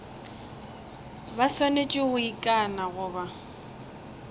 ba swanetše go ikana goba